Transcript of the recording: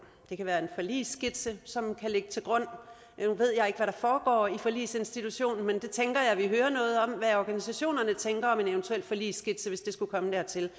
det kan være en forligsskitse som kan ligge til grund nu ved jeg ikke hvad foregår i forligsinstitutionen men jeg tænker at vi hører noget om hvad organisationerne tænker om en eventuel forligsskitse hvis det skulle komme dertil